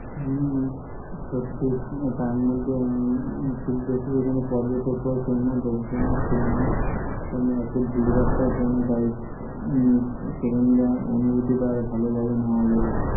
হম সত্যি একটা আনন্দ, খুব বেশি এখানে পর্যটক ও ছিলো না, লোকজন ও ছিলো না তেমন একটা ভীড় ভাট্টা ও ছিলো না তাই সেখানকার অনুভূতিটা আরও ভালো ভাবে নেওয়া গেলো